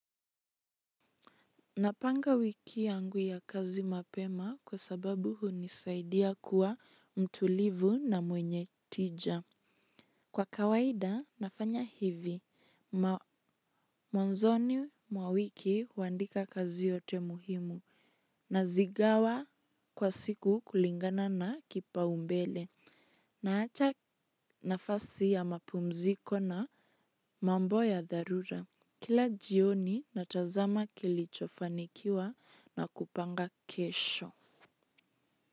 Napanga wiki yangu ya kazi mapema kwa sababu hunisaidia kuwa mtulivu na mwenye tija. Kwa kawaida nafanya hivi, mwanzoni mwawiki huandika kazi yote muhimu. Nazigawa kwa siku kulingana na kipao mbele. Naacha nafasi ya mapumziko na mambo ya dharura. Kila jioni natazama kilichofanikiwa na kupanga kesho.